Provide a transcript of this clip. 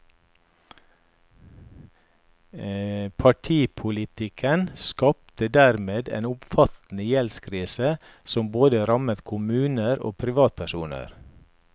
Paripolitikken skapte dermed en omfattende gjeldskrise som både rammet kommuner og privat personer.